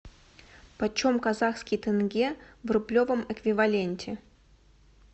почем казахский тенге в рублевом эквиваленте